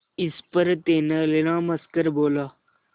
इस पर तेनालीराम हंसकर बोला